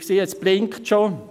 Ich sehe, es blinkt schon.